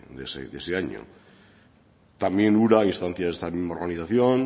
de ese año también ura a instancias de esta misma organización